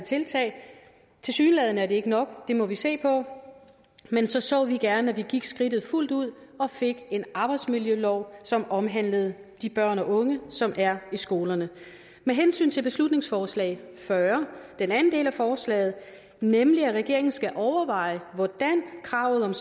tiltag tilsyneladende er det ikke nok det må vi se på men så så vi gerne at vi gik skridtet fuldt ud og fik en arbejdsmiljølov som omhandlede de børn og unge som er i skolerne med hensyn til beslutningsforslag b fyrre den anden del af forslaget nemlig at regeringen skal overveje hvordan kravet